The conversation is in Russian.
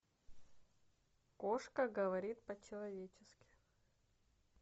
кошка говорит по человечески